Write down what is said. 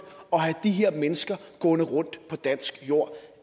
at have de her mennesker gående rundt på dansk jord